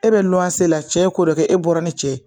E bɛ la cɛ ye ko dɔ kɛ e bɔra ni cɛ ye